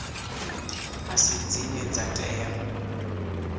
a si dzine dza tea